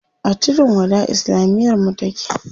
A tudun wada islamiyar mu take.